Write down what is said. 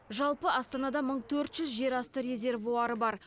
жалпы астанада мың төрт жүз жерасты резервуары бар